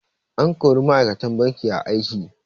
An kori ma'aikatan banki a aiki.